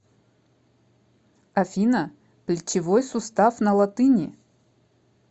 афина плечевой сустав на латыни